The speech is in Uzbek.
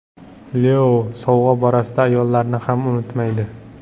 Leo sovg‘a borasida ayollarni ham unutmaydi.